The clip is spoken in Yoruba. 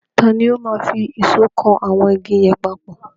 Tani ó máa fi ìṣọ́ kan àwọn igi yẹn papọ̀?